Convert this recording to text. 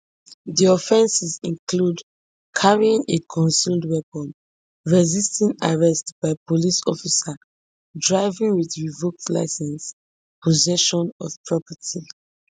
di offences include carrying a concealed weapon resisting arrest by police officer driving wit revoked licence possession of property